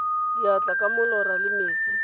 diatla ka molora le metsi